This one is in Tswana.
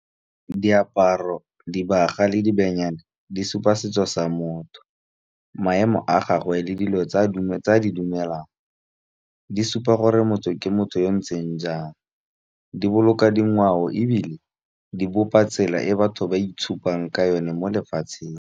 Diaparo, dibaga le dibenyane di supa setso sa motho. Maemo a gagwe le dilo tsa di dumelang di supa gore motho ke motho yo ntseng jang, di boloka dingwao ebile di bopa tsela e batho ba itshupang ka yone mo lefatsheng.